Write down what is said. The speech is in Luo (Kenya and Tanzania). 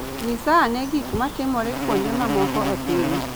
Nyisa ane gik ma timore kuonde mamoko e piny